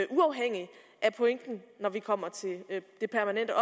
uafhængig af pointen når vi kommer til det et